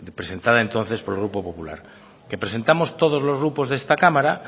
presentada entonces por el grupo popular que presentamos todos los grupos de esta cámara